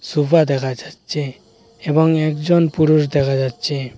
Sofa দেখা যাচ্ছে এবং একজন পুরুষ দেখা যাচ্ছে।